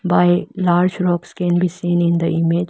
By large rocks can be seen in the image --